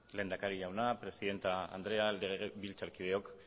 lehendakari jauna presidente andrea legebiltzar kideok